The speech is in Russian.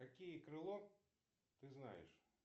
какие крыло ты знаешь